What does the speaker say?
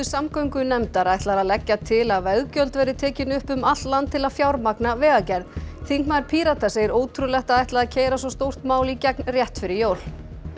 samgöngunefndar ætlar að leggja til að veggjöld verði tekin upp um allt land til að fjármagna vegagerð þingmaður Pírata segir ótrúlegt að ætla að keyra svo stórt mál í gegn rétt fyrir jól